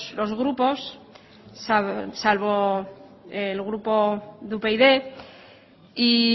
los grupos salvo el grupo de upyd y